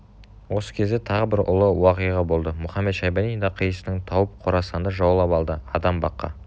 осы кезде тағы бір ұлы уақиға болды мұхамед-шайбани да қисынын тауып қорасанды жаулап алды адам баққа